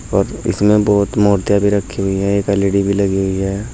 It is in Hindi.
इसमें बहुत मूर्तियां भी रखी हुई है एक एल_इ_डी भी लगी हुई है।